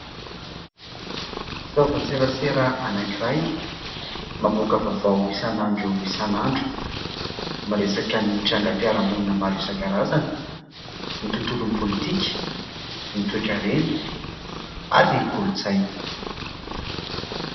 Fitaovan-tserasera anankiray mamoaka vaovao isan'andro isan'andro, miresaka ny trangam-piarahamonina maro isan-karazany, ny tontolon'ny politika, ny toe-karena ary ny kolontsaina.